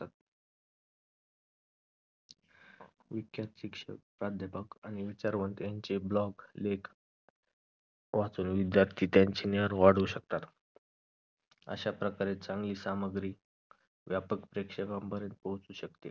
विख्यात शिक्षक प्राध्यापक आणि विचारवंत यांचे blog लेख वाचून विद्यार्थी त्यांचे ज्ञान वाढवू शकतात अश्या प्रकारे चांगली सामग्री व्यापक प्रेक्षेका पर्यंत पोहोचू शकते